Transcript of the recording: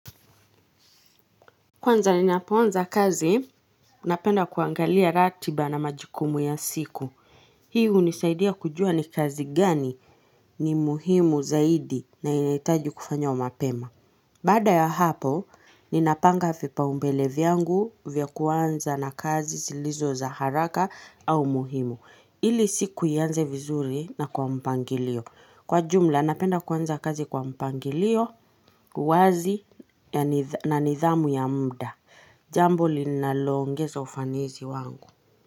Kwanza ni napoanza kazi, napenda kuangalia ratiba na majukumu ya siku. Hii hunisaidia kujua ni kazi gani ni muhimu zaidi na yanahitaji kufanywa mapema. Baada ya hapo, ninapanga vipaumbele vyangu vya kuanza na kazi zilizo za haraka au muhimu. Ili siku ianze vizuri na kwa mpangilio. Kwa jumla, napenda kuanza kazi kwa mpangilio, wazi na nidhamu ya mda. Jambo linaloongeza ufanisi wangu.